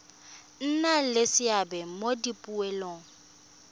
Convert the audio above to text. nna le seabe mo dipoelong